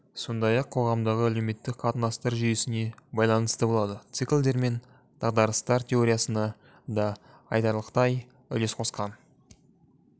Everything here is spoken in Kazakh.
сондай-ақ қоғамдағы әлеуметтік қатынастар жүйесіне байланысты болады циклдер мен дағдарыстар теориясына да айтарлықтай үлес қосқан